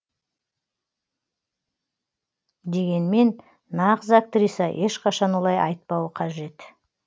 дегенмен нағыз актриса ешқашан олай айтпауы қажет